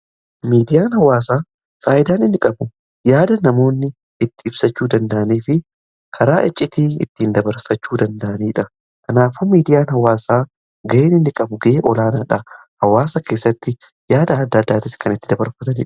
Miidiyaan hawaasaa faayidaa inni qabu yaada namoonni ittiin ibsachuu danda'anii fi karaa iccitii ittiin dabarfachuu danda'aniidha. Kanaafuu miidiyaan hawaasaa ga'een inni qabu ga'ee olaanaadha. Hawaasa keessatti yaada adda addaatis kan ittiin dabarfataniidha.